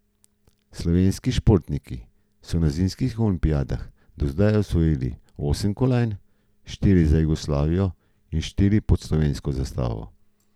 Slovenski športniki so na zimskih olimpijadah do zdaj osvojili osem kolajn, štiri za Jugoslavijo in štiri pod slovensko zastavo.